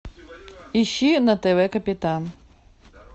ищи на тв капитан